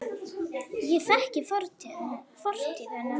Ég þekki fortíð hennar.